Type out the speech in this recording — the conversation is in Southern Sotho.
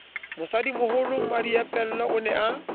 mosadimoholo mmadiepollo o ne a